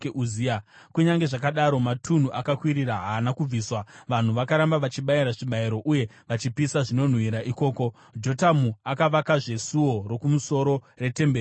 Kunyange zvakadaro, matunhu akakwirira haana kubviswa, vanhu vakaramba vachibayira zvibayiro uye vachipisa zvinonhuhwira ikoko. Jotamu akavakazve Suo Rokumusoro retemberi yaJehovha.